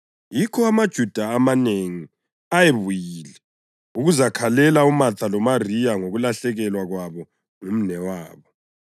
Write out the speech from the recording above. yikho amaJuda amanengi ayebuyile ukuzakhalela uMatha loMariya ngokulahlekelwa kwabo ngumnewabo.